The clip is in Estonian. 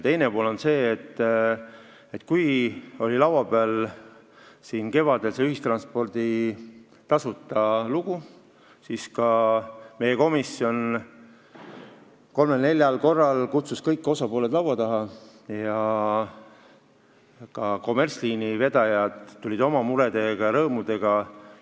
Teine pool on see, et kui kevadel oli laua peal see tasuta ühistranspordi lugu, siis meie komisjon kolmel-neljal korral kutsus kõik osapooled laua taha ja ka kommertsvedajad tulid oma murede ja rõõmudega.